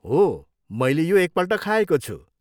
हो, मैले यो एकपल्ट खाएको छु।